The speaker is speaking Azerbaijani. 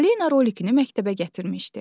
Alena rolikini məktəbə gətirmişdi.